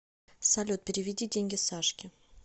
салют переведи деньги сашке